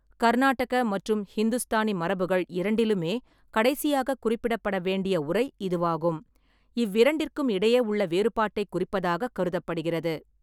கர்நாட்டக மற்றும் ஹிந்துஸ்தானி மரபுகள் இரண்டிலுமே கடைசியாக குறிப்பிடப்பட வேண்டிய உரை இதுவாகும். இவ்விரண்டிற்கும் இடையே உள்ள வேறுபாட்டை குறிப்பதாகக் கருதப்படுகிறது.